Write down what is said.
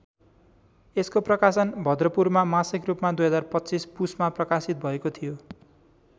यसको प्रकाशन भद्रपुरमा मासिक रूपमा २०२५ पुसमा प्रकाशित भएको थियो।